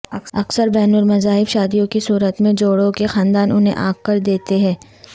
اکثر بین المذاہب شادیوں کی صورت میں جوڑوں کے خاندان انھیں عاق کر دیتے ہیں